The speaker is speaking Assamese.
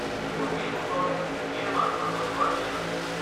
মোৰ এই বছৰ মে'ৰ মাজভাগত যোৱাৰ প্লেন আছে।